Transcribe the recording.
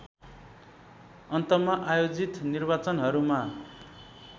अन्तमा आयोजित निर्वाचनहरूमा